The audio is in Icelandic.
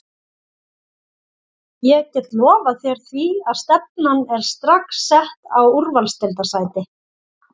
Ég get lofað þér því að stefnan er strax sett á úrvalsdeildarsæti.